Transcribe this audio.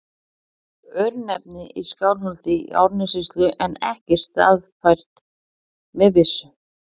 Örnefni í Skálholti í Árnessýslu en ekki staðfært með vissu.